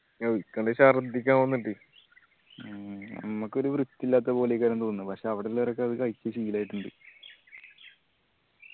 നൗഫൽഞ്ഞു ശർധിക്കാൻ വന്നിട്ട് ഞമ്മക്കൊരു വൃത്തിയില്ലാത്ത പോലെ ഒക്കെ തോന്നുന് പക്ഷെ അവിടെ ഉള്ളോരൊക്കെ അത് കഴിച്ച് ശീലായിട്ടിണ്ട്